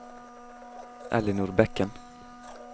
Ellinor Bekken